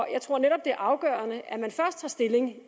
jeg tror netop det er afgørende at man først tager stilling